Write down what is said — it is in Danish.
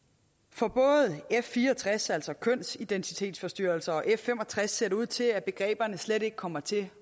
for både f64 altså kønsidentitetsforstyrrelser og f65 ser det ud til at begreberne slet ikke kommer til